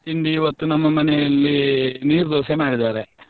ತಿಂಡಿ ಇವತ್ತು ನಮ್ಮ ಮನೆಯಲ್ಲಿ ನೀರು ದೋಸೆ ಮಾಡಿದಾರೆ.